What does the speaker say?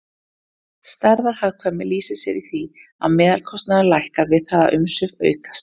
Stærðarhagkvæmni lýsir sér í því að meðalkostnaður lækkar við það að umsvif aukast.